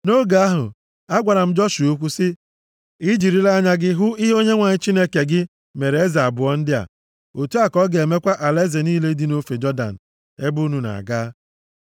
Nʼoge ahụ, agwara m Joshua okwu sị, “I jirila anya gị hụ ihe Onyenwe anyị Chineke gị mere eze abụọ ndị a. Otu a ka ọ ga-emekwa alaeze niile dị nʼofe Jọdan ebe unu na-aga.